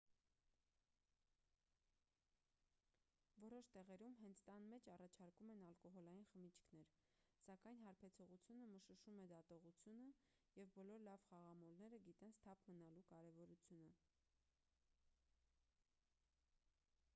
որոշ տեղերում հենց տան մեջ առաջարկում են ալկոհոլային խմիչքներ սակայն հարբեցողությունը մշուշում է դատողությունը և բոլոր լավ խաղամոլները գիտեն սթափ մնալու կարևորությունը